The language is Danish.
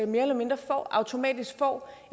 mere eller mindre automatisk får